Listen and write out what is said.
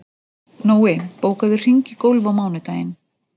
Nói, bókaðu hring í golf á mánudaginn.